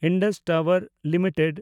Indus Tower limited